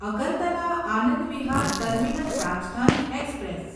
Agartala Anand Vihar terminal Rajdhani express